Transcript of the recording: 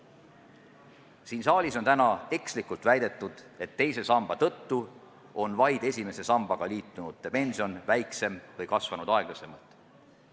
Siin saalis on täna ekslikult väidetud, et teise samba tõttu on nende pension, kes on liitunud vaid esimese sambaga, väiksem või kasvanud aeglasemalt.